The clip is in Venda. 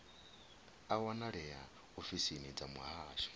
a wanalea ofisini dza muhasho